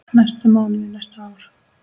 næstu mánuði, næstu ár.